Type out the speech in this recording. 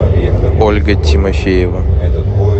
ольга тимофеева